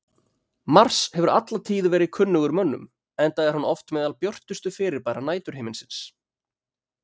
Mars hefur alla tíð verið kunnugur mönnum enda er hann oft meðal björtustu fyrirbæra næturhiminsins.